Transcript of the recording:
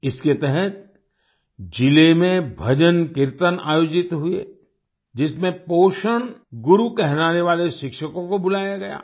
इसके तहत जिले में भजनकीर्तन आयोजित हुए जिसमें पोषण गुरु कहलाने वाले शिक्षकों को बुलाया गया